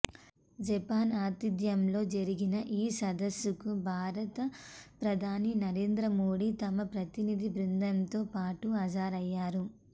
Japan ఆతిధ్యంలో జరిగిన ఈ సదస్సుకు భారత ప్రధాని నరేంద్ర మోడీ తమ ప్రతినిధి బృందంతో పాటు హాజరయ్యారు